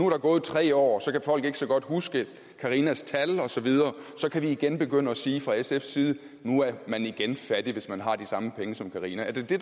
der gået tre år og så kan folk ikke så godt huske carinas tal og så videre så kan vi igen begynde at sige fra sfs side at nu er man igen fattig hvis man har de samme penge som carina er det det